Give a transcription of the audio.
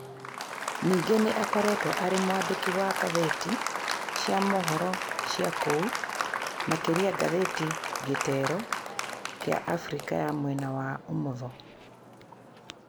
Ningĩ nĩ aakoretwo arĩ mwandĩki wa ngathĩti cia mohoro cia kũu, makĩria ngathĩti gĩtero kĩa Abrika ya Mwena wa ũmotho